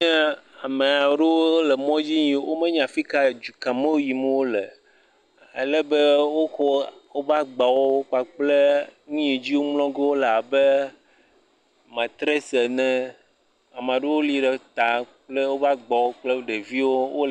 Ame aɖewo le mɔdzi eye womenya dua fi ka edu ka me yim wole o alebe wokɔ woƒe agbawo kpakple nu yi mlɔ ge woala abe materesi ene, ame aɖewo lí ɖe ta kple woƒe agbawo kple ɖeviwo.